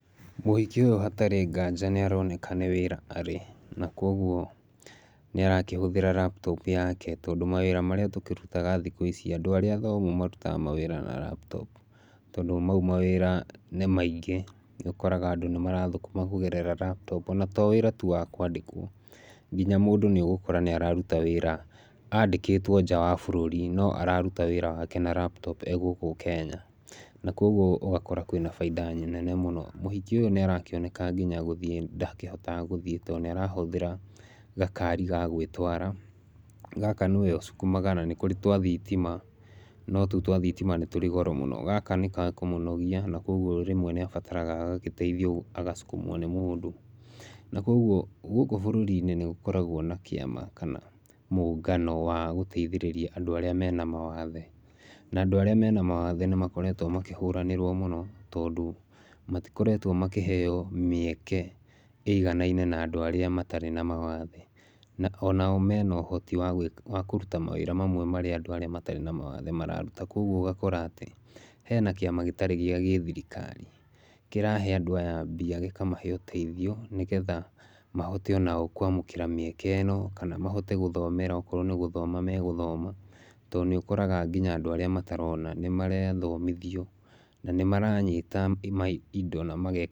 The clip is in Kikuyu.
Mũhiki ũyũ hatarĩ nganja nĩ aroneka nĩ wĩra arĩ na kwoguo nĩ arakĩhũthĩra laptop yake, tondũ mawĩra marĩa tũkĩrutaga thikũ ici andũ arĩa athomu marutaga mawĩra na laptop. Tondũ mau mawĩra nĩ maingĩ. Nĩ ũkoraga nĩ marathũkũma kũgerera laptop. Ona to wĩra tu wa kwandĩkwo, nginya mũndũ nĩ ũgũkora nĩ araruta wĩra andĩkĩtwo nja wa bũrũri, no araruta wĩra wake na laptop e gũkũ Kenya. Na kwoguo ũgakora kwĩna baita nene mũno. Mũhiki ũyũ nĩ arakĩoneka nginya gũthiĩ ndahotaga gũthiĩ tondũ nĩ arahũthĩra gakari ga gwĩtwara. Gaka nĩwe husukuma na nĩ kũrĩ twa thitima no tũu twa thitima nĩ tũrĩ goro mũno. Gaka nĩ gakũmũnogia na kwoguo rĩmwe nĩ abataraga agagĩteithio kusukumwa nĩ mũndũ. Na kwoguo gũkũ bũrũri-inĩ nĩ gũkorwagwo na kĩama kana mũngano wa gũteithĩrĩria andũ arĩa mena mawathe. Na andũ arĩa mena mawathe nĩ makoretwo makĩhũranĩrwo mũno tondũ matikoretwo makĩheo mĩeke ĩiganaine na andũ arĩa matarĩ na mawathe. Na ona o mena ũhoti wa kũruta mawĩra mamwe marĩa andũ arĩa matarĩ na mawathe mararuta. Kwoguo ũgakora atĩ hena kĩama gĩtarĩ gĩa gĩthirikari kĩrahe andũ aya mbia, gĩkamahe ũteithio nĩgetha mahote ona o kwamũkĩra mĩeke ĩno. Kana mahote gũthomera okorwo nĩ gũthoma megũthoma, tondũ nĩ ũkoraga nginya andũ arĩa matarona nĩ marathomithio. Na nĩ maranyita indo na mage.